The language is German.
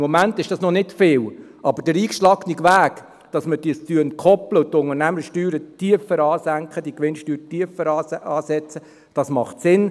Im Moment ist dies noch nicht viel, aber der eingeschlagene Weg, dies zu entkoppeln und die Unternehmenssteuer zu senken und die Gewinnsteuer tiefer anzusetzen, macht Sinn.